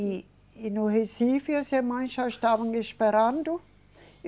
E, e no Recife as irmãs já estavam me esperando.